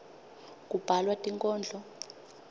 kubhalwa tinkhondlo